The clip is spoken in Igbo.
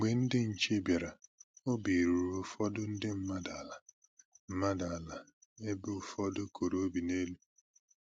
Mgbe ndị nche bịara, obi ruru ụfọdụ ndị mmadụ ala mmadụ ala ebe ụfọdụ koro obi n'elu